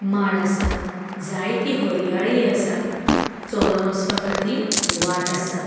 माड असा जाएति हर्याळी असा चलोन वस्पाखातीर वाट आसा.